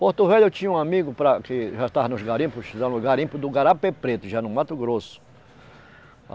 Porto Velho eu tinha um amigo para que já estava nos garimpos garimpo do Garapé Preto, já no Mato Grosso.